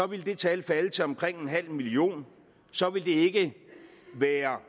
ville det tal falde til omkring en halv million så ville det ikke være